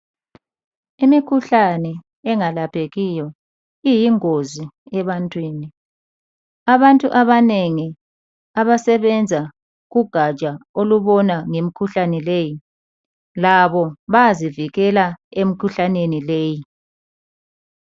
Imikhuhlane engalaphekiyo iyingozi ebantwini. Abantu abanengi abasebenza kugatsha olubona ngemikhuhlane leyi labo bayazivikela emikhuhlaneni leyi.